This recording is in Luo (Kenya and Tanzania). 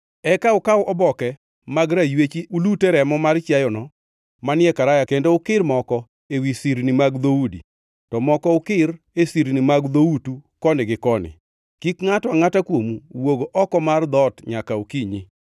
Eka ukaw oboke mag raywechi ulute remo mar chiayono manie karaya kendo ukir moko ewi sirni mag dhoudi, to moko ukir e sirni mag dhoutu koni gi koni. Kik ngʼato angʼata kuomu wuog oko mar dhoot nyaka okinyi.